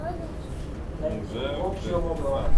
найди волчье логово